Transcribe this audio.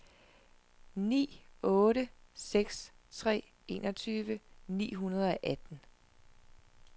ni otte seks tre enogtyve ni hundrede og atten